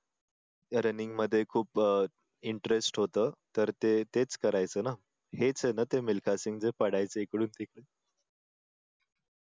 running मध्ये खूप अह interest होतं तर ते तेच करायचं ना हेच आहे ना ते मिल्खासिंग ते पळायचे इकडून तिकडून